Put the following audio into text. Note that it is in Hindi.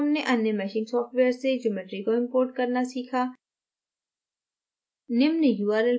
इस tutorial में हमने अन्य meshing सॉफ्टवेयर से geometry को importing करना सीखा